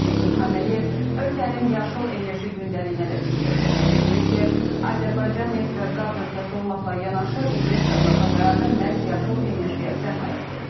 Prezident İlham Əliyev ölkənin yaşıl enerji gündəliyinə də diqqət çəkib, bildirib ki, Azərbaycan neft və qaz ölkəsi olmaqla yanaşı investorlarla bərabər məhz yaşıl enerjiyə sərmayə qoyub.